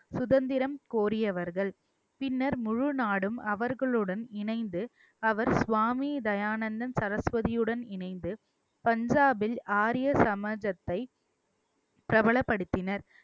சுதந்திரம் கோரியவர்கள் பின்னர் முழு நாடும் அவர்களுடன் இணைந்து அவர் சுவாமி தயானந்தன் சரஸ்வதியுடன் இணைந்து பஞ்சாபில் ஆரிய சமாஜத்தை பிரபலப்படுத்தினர்